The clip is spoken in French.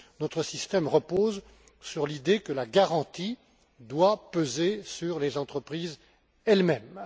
Notre système repose sur l'idée que la garantie doit peser sur les entreprises elles mêmes.